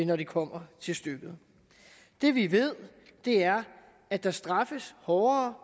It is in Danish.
når det kommer til stykket det vi ved er at der straffes hårdere